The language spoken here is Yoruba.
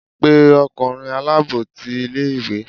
pe ọkunrin alabọ tí ìlé-ìwé!